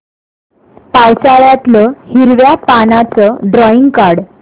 पावसाळ्यातलं हिरव्या पानाचं ड्रॉइंग काढ